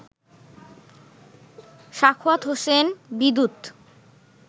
Sakhawat Hossain Bidyut